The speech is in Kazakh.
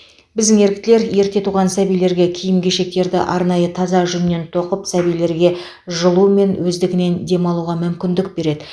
біздің еріктілер ерте туған сәбилерге киім кешектерді арнайы таза жүннен тоқып сәбилерге жылу мен өздігінен дем алуға мүмкіндік береді